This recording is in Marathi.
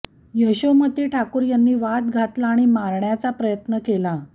यशोमती ठाकूर यांनी वाद घातला आणि मारण्याचा प्रयत्न केला